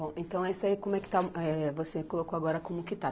Bom, então, isso aí como é que está, eh, você colocou agora como que está.